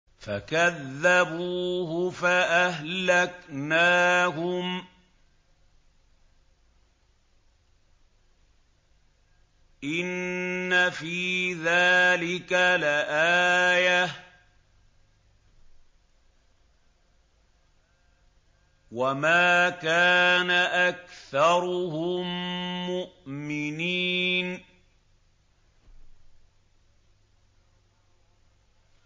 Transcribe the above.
فَكَذَّبُوهُ فَأَهْلَكْنَاهُمْ ۗ إِنَّ فِي ذَٰلِكَ لَآيَةً ۖ وَمَا كَانَ أَكْثَرُهُم مُّؤْمِنِينَ